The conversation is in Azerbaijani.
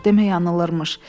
Demək yanılırmış.